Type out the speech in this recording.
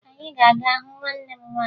Anyị ga-aga hụ nwanne m nwaanyị